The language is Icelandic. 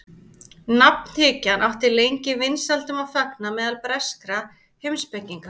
Nafnhyggjan átti lengi vinsældum að fagna meðal breskra heimspekinga.